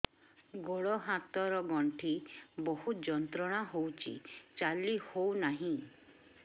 ଗୋଡ଼ ହାତ ର ଗଣ୍ଠି ବହୁତ ଯନ୍ତ୍ରଣା ହଉଛି ଚାଲି ହଉନାହିଁ